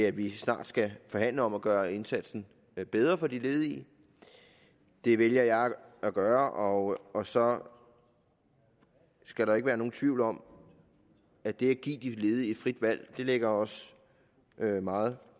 at vi snart skal forhandle om at gøre indsatsen bedre for de ledige det vælger jeg at gøre og og så skal der ikke være nogen tvivl om at det at give de ledige frit valg ligger os meget